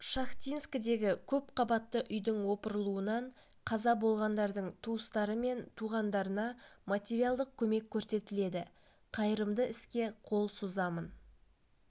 шахтинскідегі көпқабатты үйдің опырылуынан қаза болғандардың туыстары мен туғандарына материалдық көмек көрсетіледі қайырымды іске қол созамын